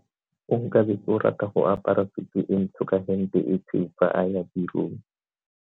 Onkabetse o rata go apara sutu e ntsho ka hempe e tshweu fa a ya tirong.